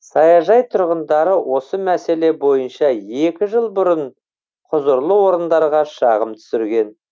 саяжай тұрғындары осы мәселе бойынша екі жыл бұрын құзырлы орындарға шағым түсірген